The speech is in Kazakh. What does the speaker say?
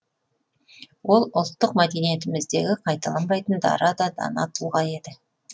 ол ұлттық мәдениетіміздегі қайталанбайтын дара да дана тұлға еді